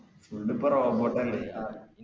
full പ്പൊ robot അല്ലെ